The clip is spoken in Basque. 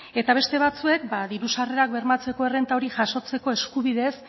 eta beste batzuek ba diru sarrerak bermatzeko errenta hori jasotzeko eskubideez